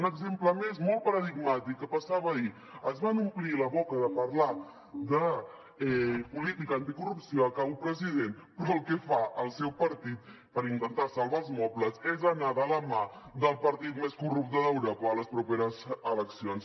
un exemple més molt paradigmàtic que passava ahir es van omplir la boca de parlar de política anticorrupció acabo president però el que fa el seu partit per intentar salvar els mobles és anar de la mà del partit més corrupte d’europa a les properes eleccions